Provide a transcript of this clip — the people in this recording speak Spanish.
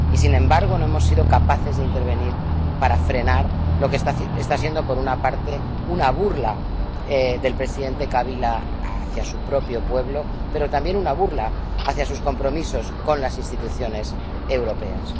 Y, sin embargo, no hemos sido capaces de intervenir para frenar lo que está siendo, por una parte, una burla del presidente Kabila hacia su propio pueblo, pero también una burla hacia sus compromisos con las instituciones europeas.